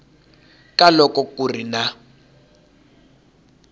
ka loko ku ri na